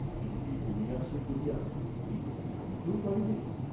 একটি কমিয়াছে বলিয়া কেহ কি জানিতেও পারিবে?